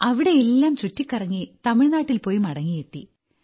അവിടെയെല്ലാം ചുറ്റിക്കറങ്ങി തമിഴ്നാട്ടിൽപോയി മടങ്ങിയെത്തി